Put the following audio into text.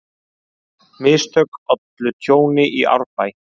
Mistök ollu tjóni í Árbæ